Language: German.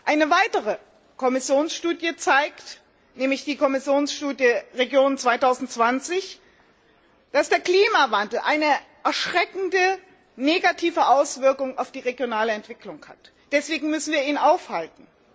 Eine weitere Kommissionsstudie nämlich die Kommissionsstudie Regionen 2020 zeigt, dass der Klimawandel eine erschreckende, negative Auswirkung auf die regionale Entwicklung hat. Deswegen müssen wir ihn aufhalten.